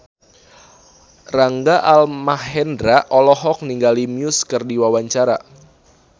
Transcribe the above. Rangga Almahendra olohok ningali Muse keur diwawancara